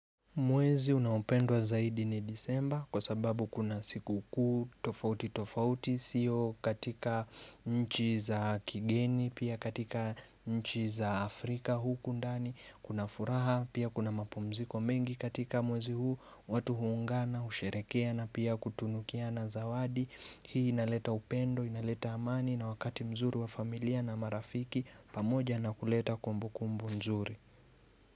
Mwezi unaopendwa zaidi ni disemba kwa sababu kuna siku kuu tofauti tofauti siyo katika nchi za kigeni pia katika nchi za Afrika huku ndani kuna furaha pia kuna mapumziko mengi katika mwezi huu watu huungana usherehekea na pia kutunukiana zawadi hii inaleta upendo inaleta amani na wakati mzuri wa familia na marafiki pamoja na kuleta kumbu kumbu mzuri.